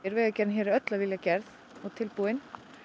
vegagerðin hér er öll af vilja gerð og tilbúin